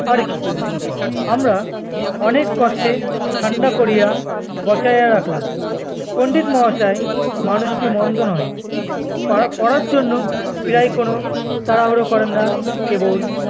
অরে কী! আমরা অনেক কষ্টে ঠান্ডা করিয়া বসায়া রাখলাম, পণ্ডিত মহাশয় মানুষটি মন্দ নহে! প~ পড়ার জন্য প্রায় কোনো তাড়াহুড়ো করেন না, কেবল